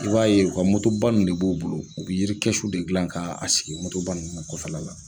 i b'a ye u ka ba nn de b'u bolo, u bi yirikɛsuw de dilan ka a sigi ba ninnu kɔfɛla la.